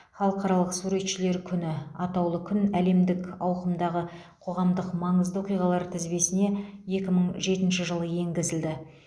халықаралық суретшілер күні атаулы күн әлемдік ауқымдағы қоғамдық маңызды оқиғалар тізбесіне екі мың жетінші жылы енгізілді